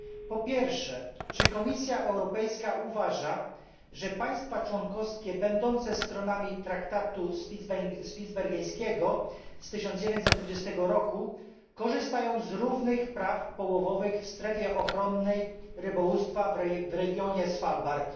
Po pierwsze, czy Komisja Europejska uważa, że państwa członkowskie będące stronami Traktatu Spitsbergeńskiego z 1920 roku korzystają z równych praw połowowych w strefie ochronnej rybołówstwa w regionie Svalbard?